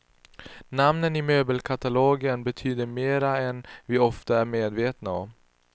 Namnen i möbelkatalogen betyder mera än vi ofta är medvetna om.